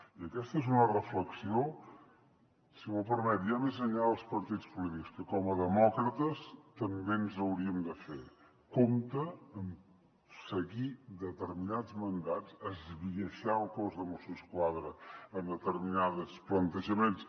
i aquesta és una reflexió si m’ho permet ja més enllà dels partits polítics que com a demòcrates també ens hauríem de fer compte amb seguir determinats mandats esbiaixar el cos de mossos d’esquadra en determinats plantejaments